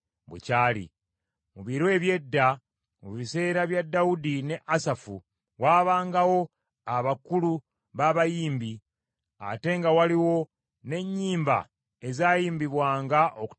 Mu biro eby’edda, mu biseera bya Dawudi ne Asafu, waabangawo abakulu b’abayimbi, ate nga waliwo n’ennyimba ezaayimbibwanga okutendereza Katonda.